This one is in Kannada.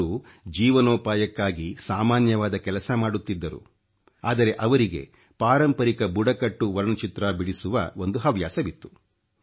ಅವರು ಜೀವನೋಪಾಯಕ್ಕಾಗಿ ಸಾಮಾನ್ಯವಾದ ಕೆಲಸ ಮಾಡುತ್ತಿದ್ದರು ಆದರೆ ಅವರಿಗೆ ಪಾರಂಪರಿಕ ಬುಡಕಟ್ಟು ವರ್ಣಚಿತ್ರ ಬಿಡಿಸುವ ಒಂದು ಹವ್ಯಾಸವಿತ್ತು